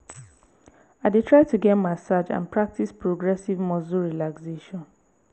i dey try to get massage and practice progressive muscle relaxation.